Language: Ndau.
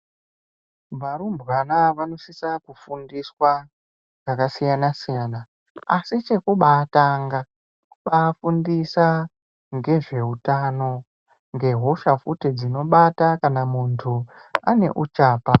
Varumbwana vanosisa kufundiswa pakasiyana siyana asi chekubatanga kubafundisa ngezveutano ngehosha futi dzinobata kana muntu ane uchapa.